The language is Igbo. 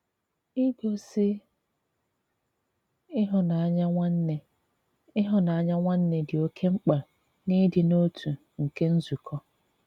Ìgosí ịhụ́nanya nwanne ịhụ́nanya nwanne dị oke mkpa n’ịdị̀ n’otu nke nzùkọ.